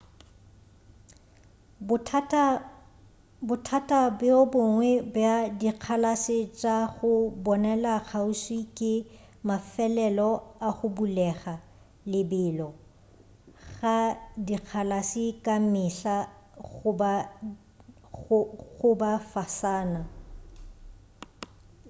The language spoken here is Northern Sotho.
bothata bjo bongwe bja dikgalase tša go bonela kgauswi ke mafelelo a go bulega lebelo ga dikgalase ka mehla go ba fasana